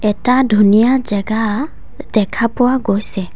এটা ধুনীয়া জেগা দেখা পোৱা গৈছে।